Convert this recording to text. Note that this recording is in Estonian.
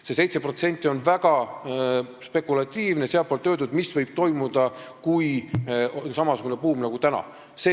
See sealtpoolt öeldud 7%, mis võib toimuda, kui on samasugune buum nagu praegu, on väga spekulatiivne.